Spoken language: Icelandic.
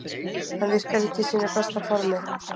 Hann virkar ekki í sínu besta formi.